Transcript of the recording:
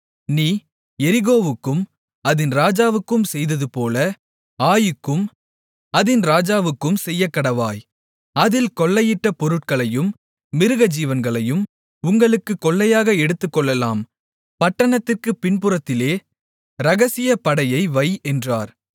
நீ எரிகோவுக்கும் அதின் ராஜாவுக்கும் செய்ததுபோல ஆயீக்கும் அதின் ராஜாவுக்கும் செய்யக்கடவாய் அதில் கொள்ளையிட்டப் பொருட்களையும் மிருகஜீவன்களையும் உங்களுக்குக் கொள்ளையாக எடுத்துக்கொள்ளலாம் பட்டணத்திற்குப் பின்புறத்திலே இரகசியப்படையை வை என்றார்